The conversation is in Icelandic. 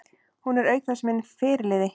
Hún er auk þess minn fyrirliði.